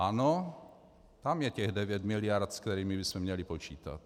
Ano, tam je těch 9 mld., se kterými bychom měli počítat.